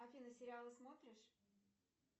афина сериалы смотришь